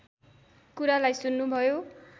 कुरालाई सुन्नु भयो